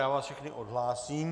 Já vás všechny odhlásím.